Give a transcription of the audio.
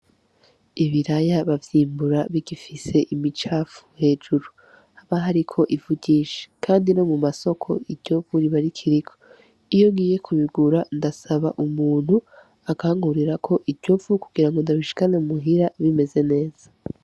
Ibiraya bavyimbura bigifise ibicafu hejuru haba hariko ivu ryinshi kandi no mumasoko iryo vu riba rikiriko iyo ngiye kubigura ndasaba umuntu akankurirako iryo vu kugire ngo ndabishikane muhira bimeze neza.